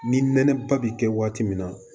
Ni nɛnɛba bi kɛ waati min na